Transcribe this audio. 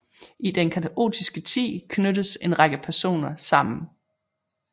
I den kaotiske tid knyttes en række personer sammen